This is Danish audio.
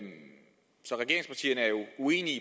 uenige